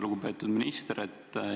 Lugupeetud minister!